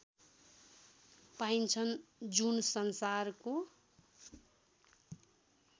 पाइन्छन् जुन संसारको